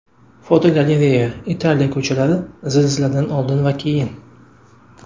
Fotogalereya: Italiya ko‘chalari zilziladan oldin va keyin.